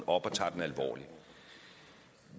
op og tager den alvorligt